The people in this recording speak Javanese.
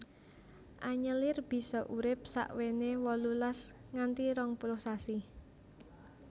Anyelir bisa urip sakwéné wolulas nganthi rong puluh sasi